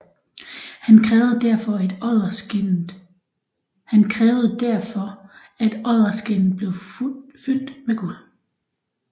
Han krævede derfor at odderskindet blev fyldt med guld